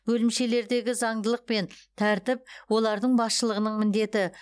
бөлімшелердегі заңдылық пен тәртіп олардың басшылығының міндеті